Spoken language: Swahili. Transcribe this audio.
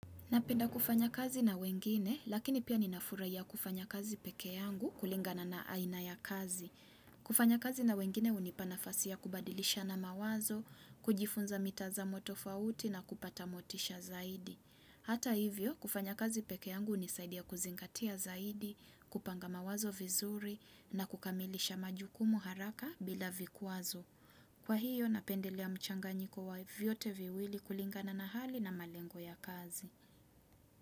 Napenda kufanya kazi na wengine, lakini pia ninafurahiya kufanya kazi pekee yangu kulingana na aina ya kazi. Kufanya kazi na wengine unipanafasia kubadilisha na mawazo, kujifunza mitazamo tofauti na kupatamotisha zaidi. Hata hivyo, kufanya kazi pekee yangu unisaidia kuzingatia zaidi, kupanga mawazo vizuri na kukamilisha majukumu haraka bila vikwazo. Kwa hiyo, napendelea mchanganyiko wa viote viwili kulingana na hali na malengo ya kazi.